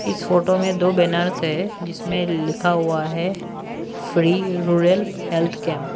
इस फोटो में दो बैनर्स है जिसमें लिखा हुआ है फ्री रूरल हेल्थ कैंप --